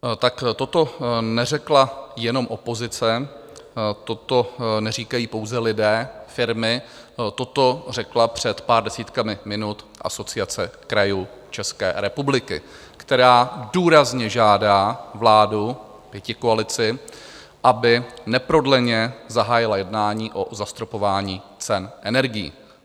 Tak toto neřekla jenom opozice, toto neříkají pouze lidé, firmy, toto řekla před pár desítkami minut Asociace krajů České republiky, která důrazně žádá vládu, pětikoalici, aby neprodleně zahájila jednání o zastropování cen energií.